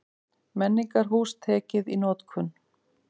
Menningarhús tekið í notkun